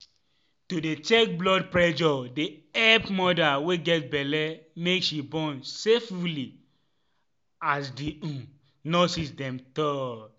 to dey check blood pressure dey epp moda wey get belle make she born safely as the um nurses dem tal